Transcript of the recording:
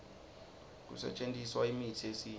kusetjentiswa imitsi yesintfu